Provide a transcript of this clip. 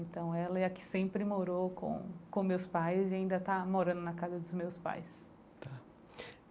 Então ela é a que sempre morou com com meus pais e ainda está morando na casa dos meus pais tá.